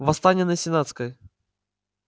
восстание на сенатской